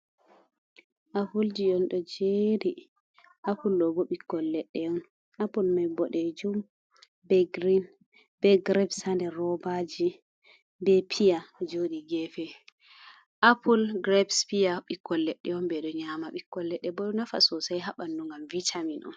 Apulji on ɗo jeeri. Apul ɗobo ɓikkolledde on. Apul mai bodeejum, be girin, be girebs ha nɗer robaji, be pia ɗo joodi gefe. Apul, girebs, pia, ɓikkol leɗɗe on. Beɗo nyama ɓikkol leɗɗe boo nafa sosei, ha bannu ngam vitamin on.